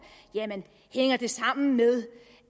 det hænger sammen med